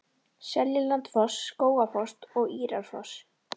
Seljalandsfoss, Skógafoss og Írárfoss.